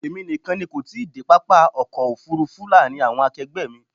Èmi nìkan ni kò tí ì dé pápá ọkọ̀ òfúrúfú láàárín àwọn akegbe mi.